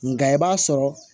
Nka i b'a sɔrɔ